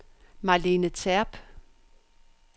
Marlene Terp